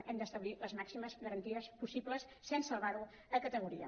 hem d’establir les màximes garanties possibles sense elevar ho a categoria